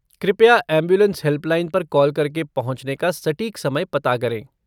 कृपया ambulance helpline पर call करके पहुंचने का सटीक समय पता करें।